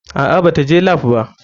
Aa bata je lap ba.